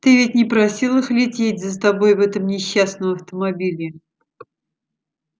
ты ведь не просил их лететь за тобой в этом несчастном автомобиле